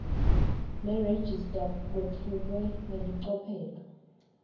nerejista kwetfulwe ngelicophelo